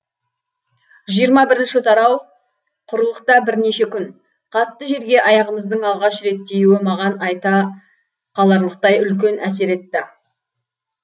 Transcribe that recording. жиырма бірінші тарау құрлықта бірнеше күн қатты жерге аяғымыздың алғаш рет тиюі маған айта қаларлықтай үлкен әсер етті